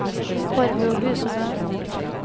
Barbro Husebø